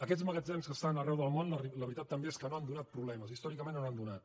aquests magatzems que estan arreu del món la veritat també és que no han donat problemes històricament no n’han donat